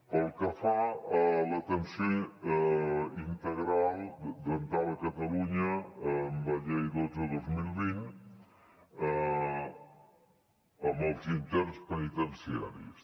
pel que fa a l’atenció integral dental a catalunya amb la llei dotze dos mil vint en els interns penitenciaris